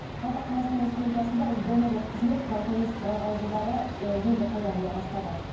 жалпы қазақстан республикасында осы донорлық қызмет мынау тәуелсіздік алғалы жылдары ы енді пайда бола бастады